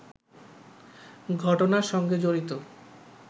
ঘটনার সঙ্গে জড়িত